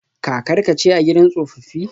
Kakarka ce a gidan tsofaffi?